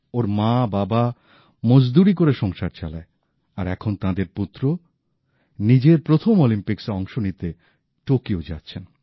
ওঁর মাবাবা মজদুরি করে সংসার চালায় আর এখন তাঁদের পুত্র নিজের প্রথম অলিম্পিক্সে অংশ নিতে টোকিও যাচ্ছেন